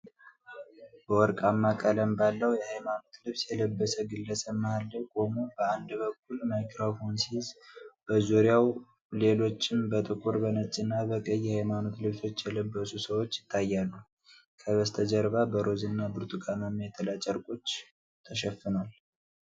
በወርቃማ ቀለም ባለው የሃይማኖት ልብስ የለበሰ ግለሰብ መሀል ላይ ቆሞ፣ በአንድ በኩል ማይክሮፎን ሲይዝ፣ በዙሪያው ሌሎችም በጥቁር፣ በነጭና በቀይ የሃይማኖት ልብሶች የለበሱ ሰዎች ይታያሉ። ከበስተጀርባ በሮዝና ብርቱካንማ የጥላ ጨርቆች ተሸፍኗል።